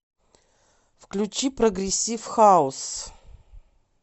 включи прогрессив хаус